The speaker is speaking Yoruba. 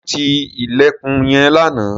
Ṣé ó ti ilẹ̀kùn yẹn lánàá?